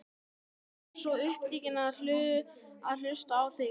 Ég var svo upptekinn af að hlusta á þig.